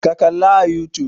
Ka kalla a youtube!